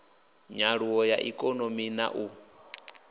nyaluwo ya ikonomi na u